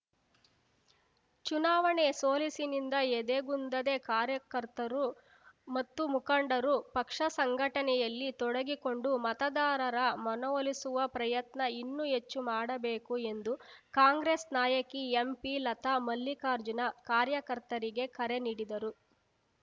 ಚುನಾವಣೆ ಸೋಲಿಸಿನಿಂದ ಎದೆಗುಂದದೆ ಕಾರ್ಯಕರ್ತರು ಮತ್ತು ಮುಖಂಡರು ಪಕ್ಷ ಸಂಘಟನೆಯಲ್ಲಿ ತೊಡಗಿಕೊಂಡು ಮತದಾರರ ಮನವೊಲಿಸುವ ಪ್ರಯತ್ನ ಇನ್ನೂ ಹೆಚ್ಚು ಮಾಡಬೇಕು ಎಂದು ಕಾಂಗ್ರೆಸ್‌ ನಾಯಕಿ ಎಂಪಿಲತಾ ಮಲ್ಲಿಕಾರ್ಜುನ ಕಾರ್ಯಕರ್ತರಿಗೆ ಕರೆ ನೀಡಿದರು